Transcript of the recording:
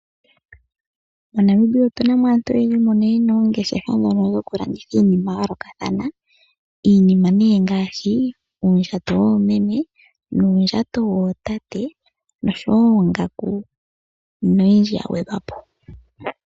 MoNamibia otunamo aantu oyendji mbono yena oongeshefa ndhono dhoku landitha iinima ya yoolokathana. Iinima ngaashi uundjato womeme nuundjato wotate noongaku noyindji ya gwedhwa po.